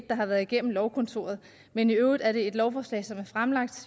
der har været igennem lovkontoret men i øvrigt er det et lovforslag som